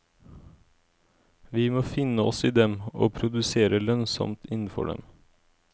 Vi må finne oss i dem, og produsere lønnsomt innenfor dem.